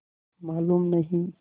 मालूम नहीं